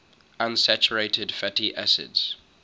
unsaturated fatty acids